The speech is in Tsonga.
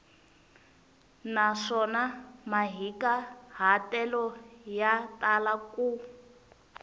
naswona mahikahatelo ya tala ku